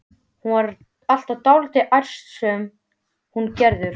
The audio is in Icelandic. Hún var alltaf dálítið ærslasöm, hún Gerður.